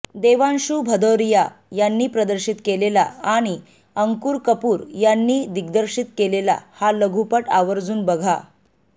देवांशू भदौरिया यांनी प्रदर्शित केलेला आणि अंकुर कपूर यांनी दिग्दर्शित केलेला हा लघुपट आवर्जून बघा